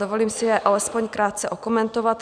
Dovolím si je alespoň krátce okomentovat.